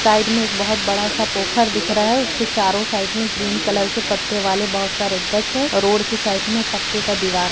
side में एक बहुत बड़ा सा पोखर दिख रहा है उसके चारो साइड से ग्रीन कलर के पत्ते वाले बहुत सारे गच्छ है रोड के साइड में पक्के का दिवार --